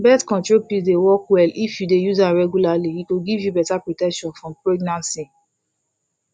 birth control pills dey work well if you dey use am regularly e go give you better protection from pregnancy